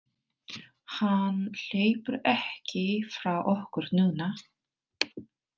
Hann hleypur ekki frá okkur núna.